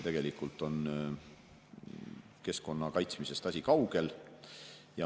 Tegelikult on keskkonna kaitsmisest asi kaugel.